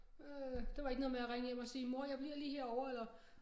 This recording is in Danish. Øh det var ikke noget med at ringe hjem og sige mor jeg bliver lige herovre eller